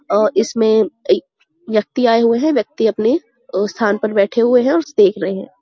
अ इसमें अइ व्यक्ति आये हुए हैं। व्यक्ति अपने अ स्थान पर बैठे हुए हैं और उसे देख रहे हैं।